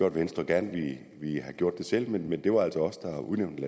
at venstre gerne ville have gjort det selv men det var altså os der udnævnte